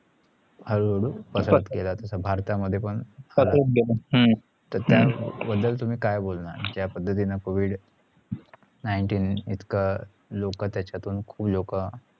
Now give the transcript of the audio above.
हळू हळू पसरत घेला तसा भारता मध्ये पण पसरत घेला त्या बदल तुमी काय बोलणार जा पद्धतींनी covid nineteen इतकं लोक त्याच्यातुन खुप लोक